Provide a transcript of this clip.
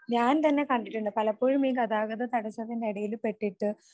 ഞാൻ തന്നെ കണ്ടിട്ടുണ്ട് പലപ്പോഴും ഈ ഗതാഗത തടസ്സത്തിനിടയിൽ പെട്ടിട്ട്